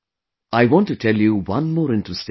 I want to tell you one more interesting thing